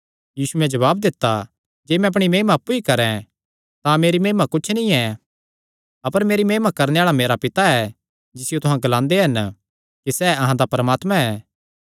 यीशुयैं जवाब दित्ता जे मैं अपणी महिमा अप्पु ई करैं तां मेरी महिमा कुच्छ नीं ऐ अपर मेरी महिमा करणे आल़ा मेरा पिता ऐ जिसियो तुहां ग्लांदे हन कि सैह़ अहां दा परमात्मा ऐ